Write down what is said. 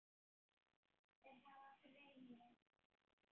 Þeir hafa greini